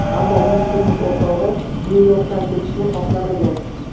Ammo uning turmush o‘rtog‘i Nyu-Yorkdan ketishni xohlamagan.